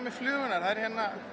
flugurnar ég